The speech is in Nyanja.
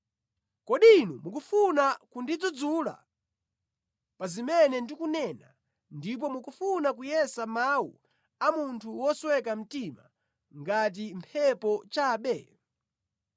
Kodi inu mukufuna kundidzudzula pa zimene ndikunena, ndipo mukufuna kuyesa mawu a munthu wosweka mtima ngati mphepo chabe?